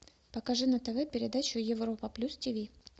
покажи на тв передачу европа плюс ти ви